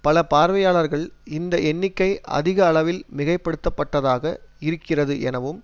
பல பார்வையாளர்கள் இந்த எண்ணிக்கை அதிக அளவில் மிகைப்படுத்தப்பட்டதாக இருக்கிறது எனவும்